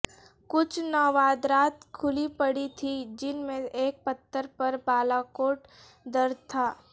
کچھ نوادرات کھلی پڑی تھیں جن میں ایک پتھر پر بالاکوٹ درج تھا